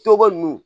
Tɔgɔ ninnu